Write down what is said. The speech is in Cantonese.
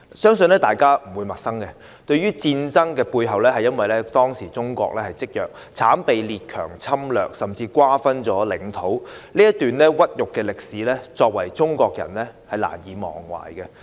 相信大家不會陌生，這場戰爭背後，是由於當時中國積弱，慘被列強侵略甚至瓜分領土，這段屈辱歷史，中國人難以忘懷。